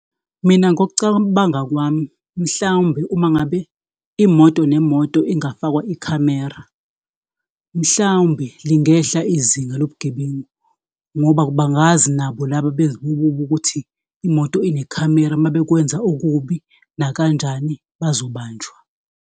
Mina ngokucabanga kwami mhlawumbe uma ngabe imoto nemoto ingafakwa ikhamera, mhlawumbe lingehla izinga lobugebengu, ngoba bangazi nabo laba benzokubi ukuthi imoto inekhamera uma bekwenza okubi nakanjani bazobanjwa.